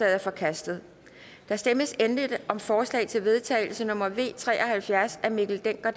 er forkastet der stemmes endelig om forslag til vedtagelse nummer v tre og halvfjerds af mikkel dencker